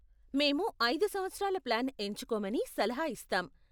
మేము ఐదు సంవత్సరాల ప్లాన్ ఎంచుకోమని సలహా ఇస్తాం.